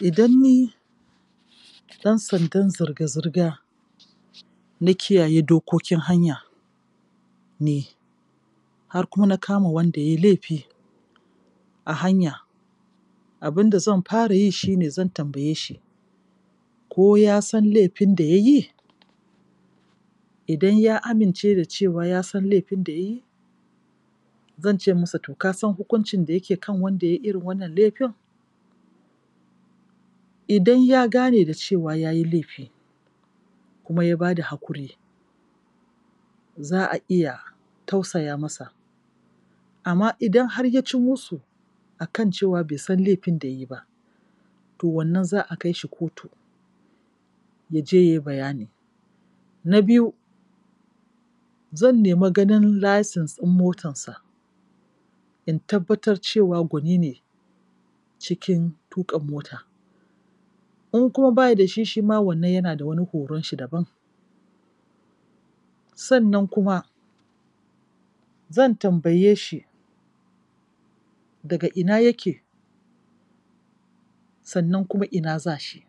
Idan ni ɗan sandan zirga-zirga na kiyaye dokokin hanya ne har kuma na kama wanda ya yi laifi a hanya, abin da zan fara yi shi ne zan tambaye shi: ko ya san laifin da ya yi? Idan ya amince da cewa ya san laifin da ya yi, zan ce masa to ka san hukuncin da yake kan wanda ya yi iri n wannan laifin? Idan ya gane da cewa ya yi laifi kuma ya ba da hakuri, za a iya tausaya masa. Amma idan har ya ci musu a kan cewa bai san laifin da ya yi ba, to wannan za a kai shi kotu. ya je ya yi bayani. Na biyu, zan nemi ganin license ɗin motansa in tabbatar cewa gwani ne cikin tuƙa mota. In kuma ba yi da shi shi ma wannan yana da wani horon shi daban. Sannan kuma, zan tambaye shi daga ina yake sannan kuma ina za shi.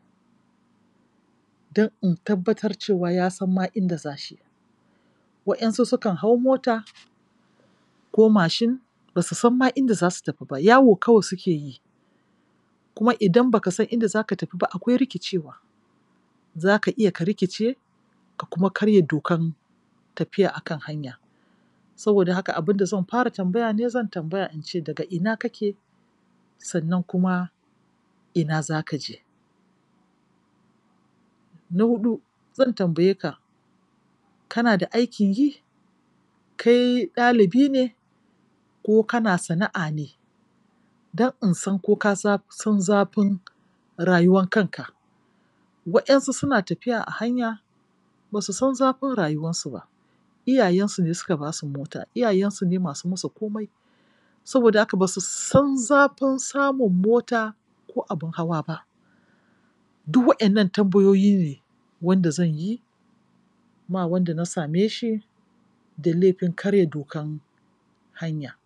don in tabbatar cewa ya ma san inda za shi waƴansu sukan hau mota ko mashin ba su ma san inda za su tafi ba. Yawo kawai suke yi Kuma idan ba ka san inda za ka tafi ba akwai rikicewa. Za ka iya ka rikice ka kuma karya dokan tafiya a kan hanya. Saboda haka abin da zan fara tambaya in dai zan tambaya, shin daga ina kake sannan kuma ina za ka je? Na huɗu, zan tambaye ka kana da aikin yi? Kai ɗalibi ne ko kana sana'a ne? Don in san ko ka san zafin rayuwan kanka. Waƴansu suna tafiya a hanya ba su san zafin rayuwansu ba; iyayensu ne suka ba su mota; iyayensu ne masu musu komai. Saboda haka ba su san zafin samun mota ko abin hawa ba Du waɗannan tambayoyi ne wanda zan yi ma wanda na same shi da laifin karya dokan hanya.